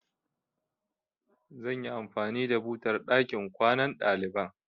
Zan yi anfani da butar a ɗakin kwanan ɗaliban.